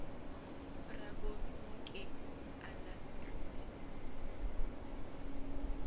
bra kobi mo ke alacrity